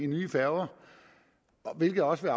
nye færger hvilket også vil